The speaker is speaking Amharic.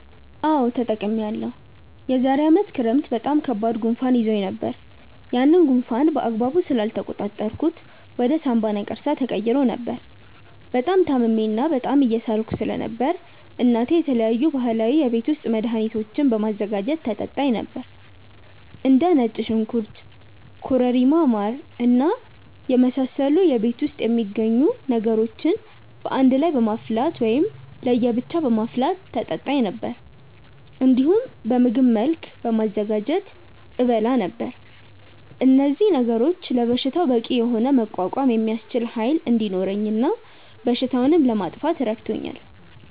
አዎ ተጠቅሜያለሁ። የዛሬ አመት ክረምት በጣም ከባድ ጉንፋን ይዞኝ ነበር። ያንን ጉንፋን በአግባቡ ስላልተቆጣጠርኩት ወደ ሳምባ ነቀርሳ ተቀይሮ ነበር። በጣም ታምሜ እና በጣም እየሳልኩ ስለነበር እናቴ የተለያዩ ባህላዊ የቤት ውስጥ መድሀኒቶችን በማዘጋጀት ታጠጣኝ ነበር። እንደ ነጭ ሽንኩርት ኮረሪማ ማር እና የመሳሰሉ ቤት ውስጥ የሚገኙ ነገሮችን በአንድ ላይ በማፍላት ወይም ለየ ብቻ በማፍላት ታጠጣኝ ነበር። እንዲሁም በምግብ መልክ በማዘጋጀትም እበላ ነበር። እነዚህ ነገሮች ለበሽታው በቂ የሆነ መቋቋም የሚያስችል ኃይል እንዲኖረኝ እና በሽታውንም ለማጥፋት ረድቶኛል።